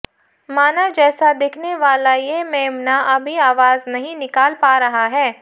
मानव जैसा दिखने वाला ये मेमना अभी आवाज नहीं निकाल पा रहा है